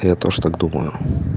я тоже так думаю